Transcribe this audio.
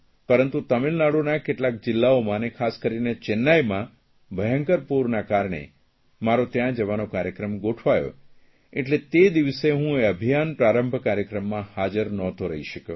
પરંતુ તામિળનાડુના કેટલાક જિલ્લાઓમાં અને ખાસ કરીને ત્યાં જવાનો કાર્યક્રમ ગોઠવાયો એટલે તે દિવસે હું એ અભિયાન પ્રારંભ કાર્યક્રમમાં હાજર નહોતો રહી શક્યો